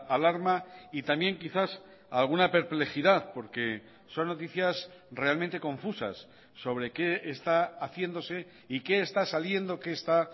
alarma y también quizás alguna perplejidad porque son noticias realmente confusas sobre qué está haciéndose y qué está saliendo qué está